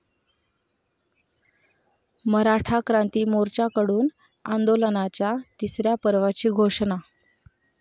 मराठा क्रांती मोर्चा'कडून आंदोलनाच्या तिसऱ्या पर्वाची घोषणा